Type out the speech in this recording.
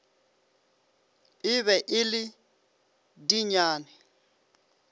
e be e le dinyane